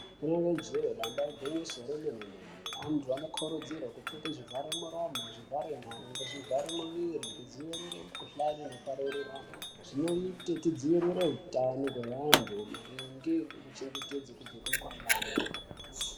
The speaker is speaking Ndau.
Rinenge jee damba igwinyiso remene-mene. Antu anokurudzirwe kupfeke zvivharemuromo, zvivharenyara ngezvivharemuviri kudzivirire mikuhlani inopararirane. Zvinoite tidzivirire hutano hwevantu maringe ngekuchengetedze kubve kumikuhlani.